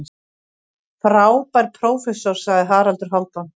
Frábær prófessor, sagði Haraldur Hálfdán.